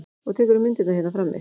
Og tekurðu myndirnar hérna frammi?